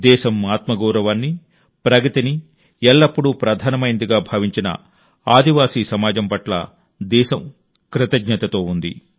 దేశం ఆత్మగౌరవాన్ని ప్రగతిని ఎల్లప్పుడూ ప్రధానమైనదిగా భావించిన ఆదివాసీ సమాజం పట్ల దేశం కృతజ్ఞతతో ఉంది